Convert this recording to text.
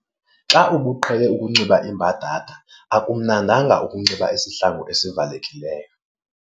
Xa ubuqhele ukunxiba iimbadada akumnandanga ukunxiba isihlangu esivalekileyo.